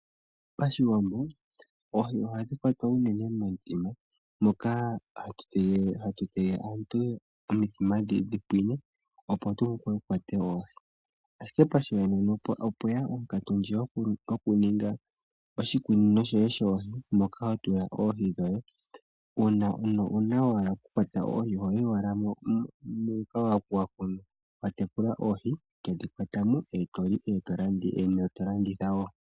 Pashiwambo oohi ohadhi kwatwa unene momithima mona hatu tegelele omithima dhi pwine, opo tu vule tu kwate oohi. Ashime pashinanena opweya onkatu ndjoka yokuninga oshikunino shoye shoohi, moka ho tula oohi dhoye. Nuuna wa hala okukwata oohi ohoyi owala muuko moka wa tekula oohi. To dhi kwatamo e to li, dhimwe to landitha wo.